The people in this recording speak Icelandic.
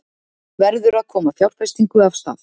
Verður að koma fjárfestingu af stað